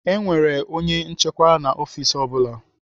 E nwere onye nchịkwa na ọfiks ọ bụla.